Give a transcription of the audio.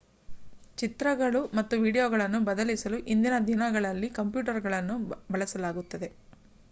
ಚಿತ್ರಗಳು ಮತ್ತು ವೀಡಿಯೋಗಳನ್ನು ಬದಲಿಸಲು ಇಂದಿನ ದಿನಗಳಲ್ಲಿ ಕಂಪ್ಯೂಟರುಗಳನ್ನು ಬಳಸಲಾಗುತ್ತದೆ